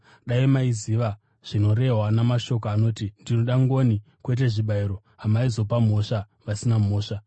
Dai maiziva zvinorehwa namashoko anoti, ‘Ndinoda ngoni, kwete zvibayiro,’ hamaizopa mhosva vasina mhosva.